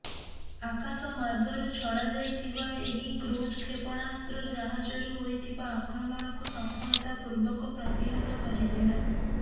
ଆକାଶମାର୍ଗରୁ ଛଡ଼ାଯାଇଥିବା ଏହି କ୍ରୁଜ କ୍ଷେପଣାସ୍ତ୍ର ଜାହାଜରୁ ହୋଇଥିବା ଆକ୍ରମଣକୁ ସଫଳତା ପୂର୍ବକ ପ୍ରତିହତ କରିଥିଲା